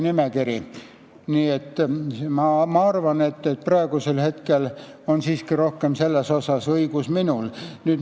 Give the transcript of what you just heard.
Nii et ma arvan, et praegu on siiski minul selles asjas rohkem õigus.